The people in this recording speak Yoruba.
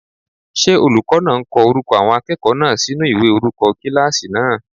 Ṣé olùkọ́ náà ń ko orúkọ àwọn akẹ́kọ̀ọ́ náà sinú ìwé orúkọ kílásì náà?